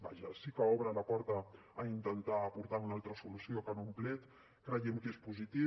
vaja sí que obre la porta a intentar aportar una altra solució que en un plet creiem que és positiu